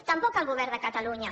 tampoc el govern de catalunya